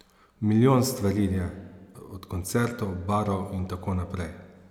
Milijon stvari je, od koncertov, barov in tako naprej.